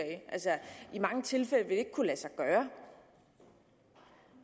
i mange tilfælde ikke vil kunne lade sig gøre